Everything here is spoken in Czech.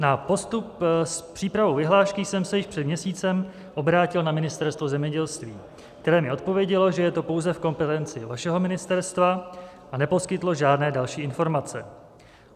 Na postup s přípravou vyhlášky jsem se již před měsícem obrátil na Ministerstvo zemědělství, které mi odpovědělo, že je to pouze v kompetenci vašeho ministerstva, a neposkytlo žádné další informace.